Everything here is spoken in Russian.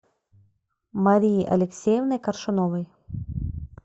марии алексеевны коршуновой